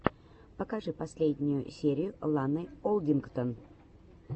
покажи последнюю серию ланы олдингтон